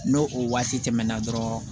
N'o o waati tɛmɛna dɔrɔn